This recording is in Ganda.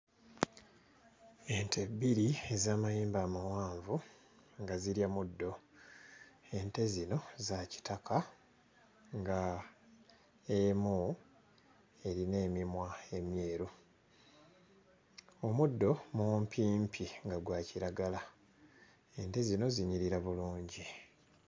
Ente bbiri ez'amayembe amawanvu nga zirya muddo, ente zino za kitaka nga emu erina emimwa emyeru, omuddo mumpimpi nga gwa kiragala, ente zino zinyirira bulungi.